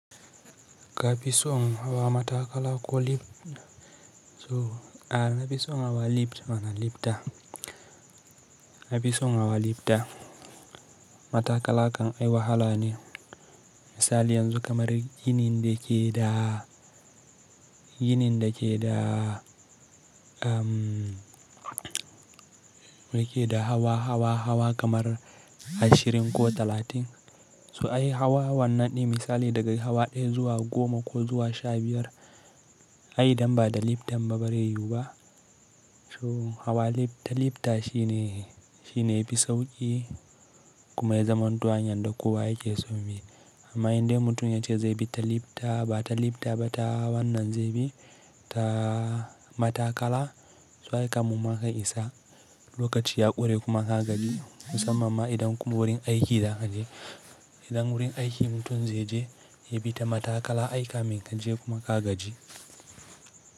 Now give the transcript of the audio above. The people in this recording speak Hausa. Ka fi so hawa matakala ko lift? So a na fi son nawa lift mana lifta, na fi son nawa lifta. Matakala kan ai wahala ne. Misali yanzu kamar ginin da ke da, ginin da ke da, mm, da ke da hawa, hawa, hawa kamar ashirin ko talatin. So ai hawa wannan ne misali daga hawa ɗaya zuwa goma ko zuwa sha biyar. Ai idan ba da liftan ba bari yiwu ba. So hawa lif-ta lifta shi ne, shi ne yafi sauƙi kuma ya zaman to hanyan da kowa yake so bi. Amma in dai mutum ya ce zai bi ta lifta ba ta lifta ba ta wannan zai bi, ta matakala. So ai kamumma ka isa lokaci ya ƙure kuma ka gaji, musamman ma idan wurin aiki zaka je. Idan wurin aiki mutum zai je, ya bi ta matakala ai kamin kaje kuma ka gaji.